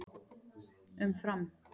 Um Fram: